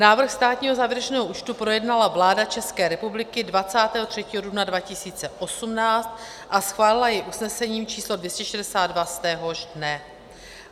Návrh státního závěrečného účtu projednala vláda České republiky 23. dubna 2018 a schválila jej usnesením číslo 262 z téhož dne.